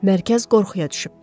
Mərkəz qorxuya düşüb.